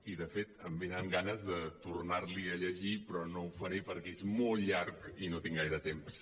i de fet em venen ganes de tornar·l’hi a llegir però no ho faré perquè és molt llarg i no tinc gaire temps